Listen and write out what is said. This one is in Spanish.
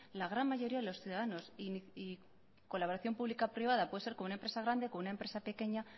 la gran mayoría de los ciudadanos y colaboración pública privada puede ser con una empresa grande con una empresa pequeña